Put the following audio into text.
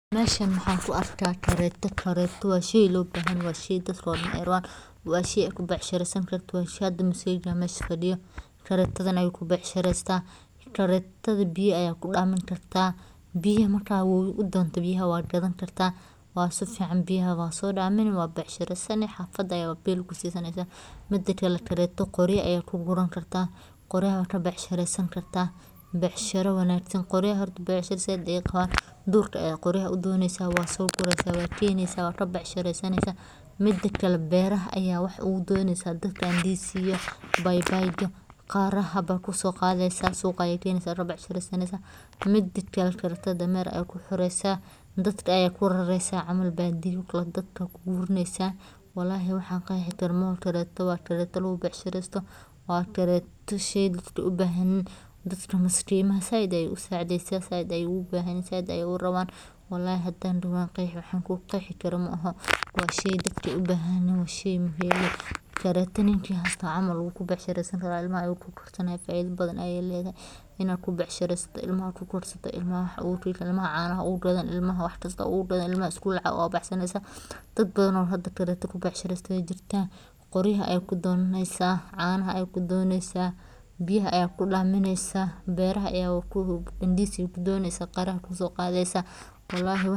Meshan mahan kuarka kareto wa shey lobahanyahay, wa shey tatka odan ay rawan wa shey ukubec shirisankarto, hada muzeygan meshan fadiyo karetadan ayu kubecshiresta karetadi biya aya kudamini karta biya marka wowi udonto biya wad gadani karta wa sifican biya wasodamini wabec shiresani xafata aya bil kusisaneysa, midi kale kareta gorya aya kugurani karta goryaha, wa aya kabec shiresani karta becshira wanagsan gorya horta becshira sait ayay qawan durka ayad qorya udoneysa waso gureysa wakeneysa wakabec shirey sanaysa midikale beraha aya wax ogu doneysa, dadka indizi iyo baybayta qara bay kusoqadeysa suqa aya keneysa kabec shireysaneysa midakale karetada damer aya kuxireysa dadka ayad kurareysa camal bidiyaha dadka ayad kugurineysa, walahi waxan qexi karo maahan kareto waa kareto lagu becshireysto waa kareto dadka sheygay ubahanyihin oo maskimaha sait ayay usacideysa sait ayay ogubahanyihin, sait ayay uraban walahi hadan doho wankuqexi waxan kuqexi karo maahan waa shey dadka ubahanyihin, waa shey muhim ah ilmaha ayad cano ugugadani waxkista ayad ogu gadani ilmaha school lacag ogabaxsani canaha ayad kudonaneysa biyaha ayad kudamineysa.